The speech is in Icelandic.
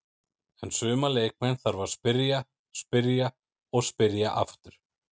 En suma leikmenn þarf að spyrja, spyrja og spyrja aftur.